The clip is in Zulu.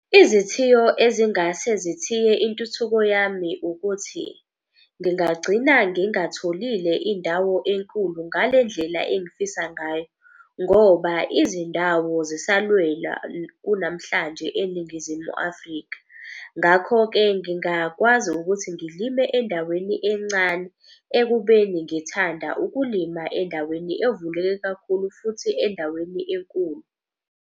Izithiyo ezingase zithiye intuthuko yami, ukuthi ngingagcina ngingatholile indawo enkulu ngalendlela engifisa ngayo ngoba izindawo zisalwelwa kunamhlanje eNingizimu Afrika. Ngakho-ke ngingakwazi ukuthi ngilime endaweni encane ekubeni ngithanda ukulima endaweni evulekile kakhulu futhi endaweni enkulu.